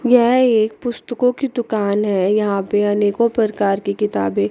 यह एक पुस्तकों की दुकान है यहां पे आनेको प्रकार की किताबें--